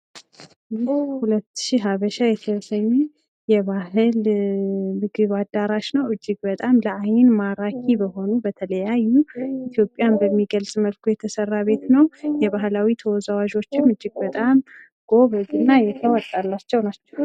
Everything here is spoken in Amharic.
ይህ ሁለትሺ ሃበሻ የተሰኘ የባህል ምግብ አዳራሽ ነው ፤ እጅግ በጣም ለአይን ማራኪ የሆኑ በተለያዩ የኢትዮጵያ በሚገልጹ ሁኔታ የተሰራ ቤት ነው ፤ የባህል ተወዛዋዦቹ እጅግ በጣም የተዋጣላቸውና ጎበዞች ናቸው።